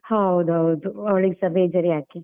ಹೌದು ಹೌದು, ಅವಳಿಗೆಸ ಬೇಜಾರ್ ಯಾಕೆ.